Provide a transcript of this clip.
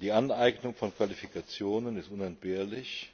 Die Aneignung von Qualifikationen ist unentbehrlich,